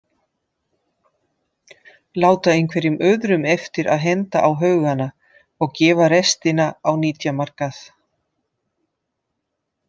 Láta einhverjum öðrum eftir að henda á haugana og gefa restina á nytjamarkað.